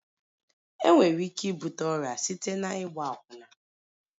Enwere ike ibute ọrịa site na ịgba akwụna